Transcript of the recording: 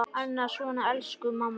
Annað svona: Elsku mamma!